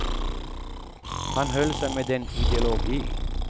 Han höll sig med en ideologi.